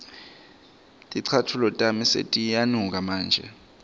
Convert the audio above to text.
ticatfulo tami setiyanuka manje